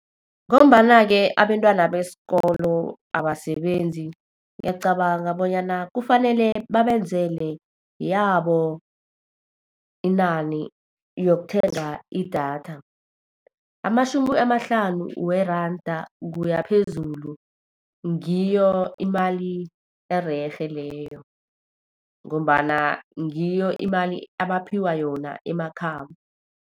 Ngombana-ke abentwana besikolo abasebenzi, ngiyacabanga bonyana kufanele babenzele yabo inani yokuthenga idatha. Amatjhumi amahlanu weranda kuya phezulu ngiyo imali ererhe leyo. Ngombana ngiyo imali abaphiwa yona emakhabo.